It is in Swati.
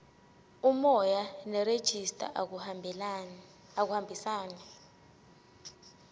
umoya nerejista akuhambisani